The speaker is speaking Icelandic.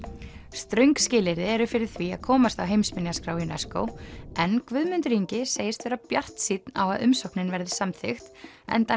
ströng skilyrði eru fyrir því að komast á heimsminjaskrá UNESCO en Guðmundur Ingi segist vera bjartsýnn á að umsóknin verði samþykkt enda